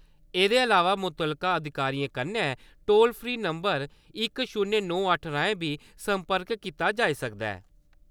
एह्‌दे अलावा मुतलका अधिकारियें कन्नै टोल फ्री नम्बर इक शून्य राएं बी सम्पर्क कीता जाई सकदा ऐ।